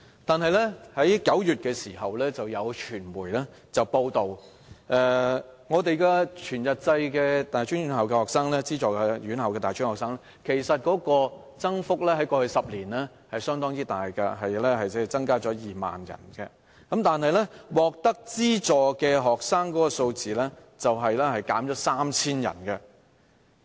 但是，今年9月有傳媒報道，全日制資助院校的大專學生人數，在過去10年的增幅相當大，增加了2萬人，但獲得資助的學生人數，卻減少了3000人。